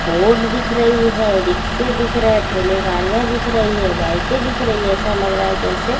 board दिख रही है रिक्से दिख रही है ठेले गाडिया दिख रहे है बाइके दिख रही है ऐसा लग रहा है जैसे --